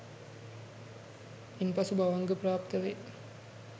ඉන්පසු භවංග ප්රාප්ත වේ